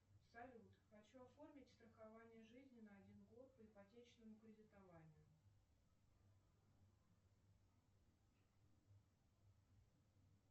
салют хочу оформить страхование жизни на один год по ипотечному кредитованию